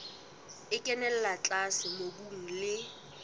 e kenella tlase mobung le